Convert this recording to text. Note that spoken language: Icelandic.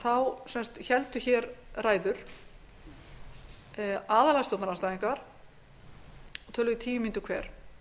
í september héldu aðallega stjórnarandstæðingar ræður og töluðu í tíu mínútur hver